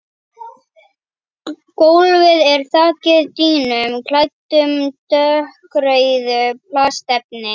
Gólfið er þakið dýnum klæddum dökkrauðu plastefni.